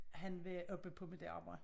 Han var oppe på mit arbejde